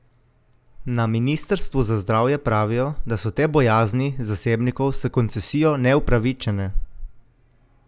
Na ministrstvu za zdravje pravijo, da so te bojazni zasebnikov s koncesijo neupravičene.